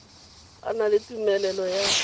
a na le tumelelo ya